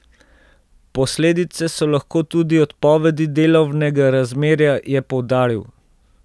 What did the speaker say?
Posledice so lahko tudi odpovedi delovnega razmerja, je poudaril.